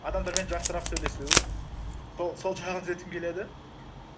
адамдармен жақсырақ сөйлесу сол жағын түзеткім келеді